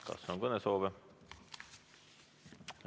Kas on kõnesoove?